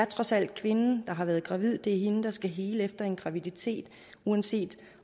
trods alt er kvinden der har været gravid det er hende der skal hele efter en graviditet uanset